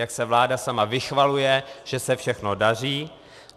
Jak se vláda sama vychvaluje, že se všechno daří.